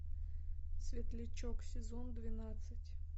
светлячок сезон двенадцать